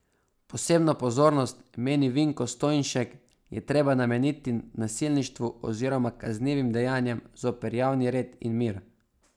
Posebno pozornost, meni Vinko Stojnšek, je treba nameniti nasilništvu oziroma kaznivim dejanjem zoper javni red in mir.